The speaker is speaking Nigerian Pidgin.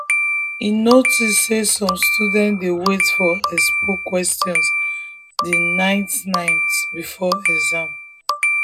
e notice say some students dey wait for expo questions the night night before exam.